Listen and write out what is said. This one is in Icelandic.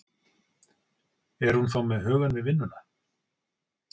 Er hún þá með hugann við vinnuna?